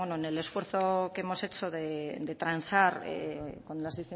en el esfuerzo que hemos hecho de transar con las